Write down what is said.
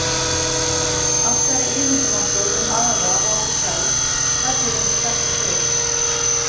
Allt sem við ímyndum okkur um aðra og okkur sjálf fellur undir þetta svið.